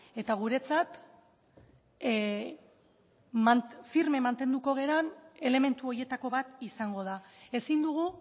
eta guretzat firme mantenduko garen elementu horietako bat izango da ezin dugu